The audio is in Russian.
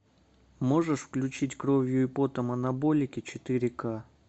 можешь включить кровью и потом анаболики четыре к